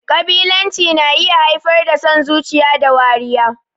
Ƙabilanci na iya haifar da son zuciya da wariya.